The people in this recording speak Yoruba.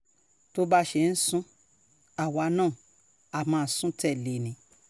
tó bá ṣe ń sún àwa náà á máa sùn tẹ̀lé e ni